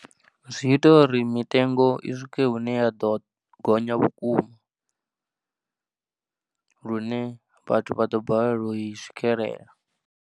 Zwi ita uri mitengo i swike hune ya ḓo gonya vhukuma lune vhathu vha ḓo balelwa u i swikelela.